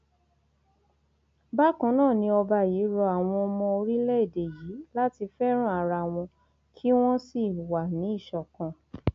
bákan náà ni ọba yìí rọ àwọn ọmọ orílẹèdè yìí láti fẹràn ara wọn kí wọn sì wà ní ìṣọkan